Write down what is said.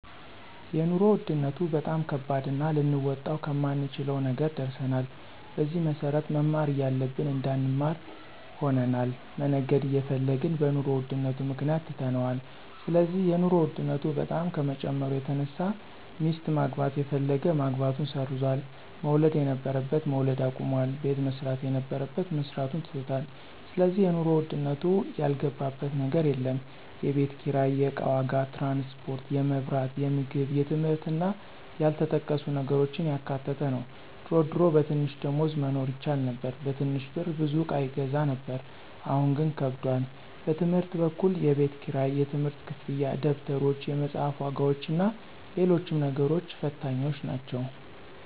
የኑሮ ውድነቱ በጣም ከባድና ልንወጣው ከማንችለው ነገር ደርሰናል። በዚህም መሰረት መማር እያለብን እንዳንማር ሆነናል፣ መነገድ እየፈለግን በኑሮ ውድነቱ ምክንያት ትተነዋል ስለዚህ የኑሮ ውድነቱ በጣም ከመጨመሩ የተነሳ ሚስት ማግባት የፈለገ ማግባቱን ሰርዟል፣ መውለድ የነበረበት መውለድ አቁሟል፣ ቤት መስራት የነበረበት መስራቱን ትቶታል ስለዚህ የኑሮ ውድነቱ ያልገባበት ነገር የለም፣ የቤት ኪራይ፣ የእቃ ዋጋ፣ ትራንስፖርት፣ የመብራት፣ የምግብ የትምህርት እና ያልተጠቀሱ ነገሮችን ያካተተ ነው ድሮ ድሮ በትንሽ ደሞዝ መኖር ይቻል ነበር በትንሽ ብር ብዙ እቃ ይገዛ ነበር አሁን ግን ከብዷል። በትምህርት በኩል የቤት ክራይ፣ የትምህርት ክፍያ፣ ደብተሮች፣ የመፅሐፍ ዋጋዎችና ሎሎችም ነገሮች ፈታኞች ናቸው።